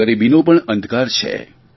ગરીબીનો પણ અંધકાર છે